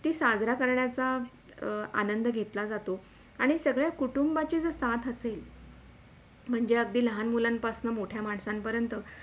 ते साजरा करण्याचा आनंद घेतला जातो आणि सगळया कुटुंबाच्या साथ असेल म्हणजे अगदी लहान मुलांपासून मोठ्या माणसान पर्यन्त